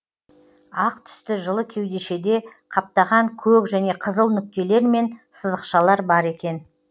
ақ түсті жылы кеудешеде қаптаған көк және қызыл нүктелер мен сызықшалар бар екен